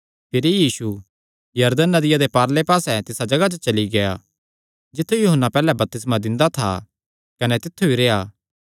भिरी यीशु यरदन नदिया दे पारले पास्से तिसा जगाह चली गेआ जित्थु यूहन्ना पैहल्लैं बपतिस्मा दिंदा था कने तित्थु ई रेह्आ